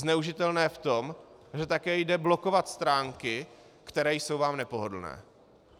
Zneužitelné v tom, že také jde blokovat stránky, které jsou vám nepohodlné.